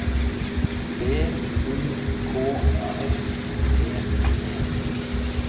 V O K S T E